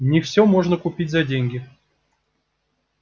не всё можно купить за деньги